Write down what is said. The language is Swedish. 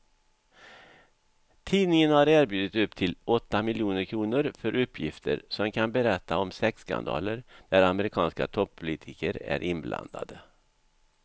Tidningen har erbjudit upp till åtta miljoner kr för uppgifter som kan berätta om sexskandaler där amerikanska toppolitiker är inblandade.